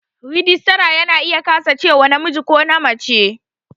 Rajistara ya na iya kasancewa namiji ko mace